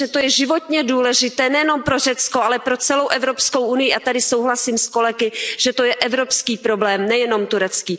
Myslím, že to je životně důležité nejenom pro Řecko, ale pro celou Evropskou unii a tady souhlasím s kolegy, že to je evropský problém, nejenom turecký.